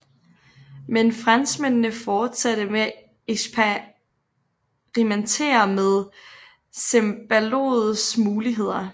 Men franskmændene fortsatte med at eksperimentere med cembaloets muligheder